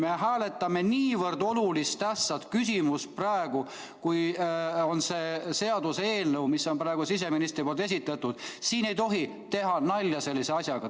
Me hääletame praegu niivõrd olulist küsimust, kui on seda see seaduseelnõu, mille on siseminister esitanud, et siin ei tohi teha nalja sellise asjaga.